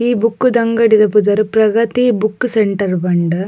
ಈ ಬುಕ್ಕ್ ದ ಅಂಗಡಿದ ಪುದರ್ ಪ್ರಗತಿ ಬುಕ್ಕ್ ಸೆಂಟರ್ ಪಂದ್.